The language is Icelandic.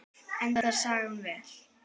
Endar sagan vel?